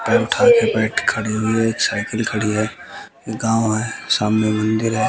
पैर उठा के बैठ खड़ी हुई है एक साइकिल खड़ी है एक गांव है सामने मंदिर हैं।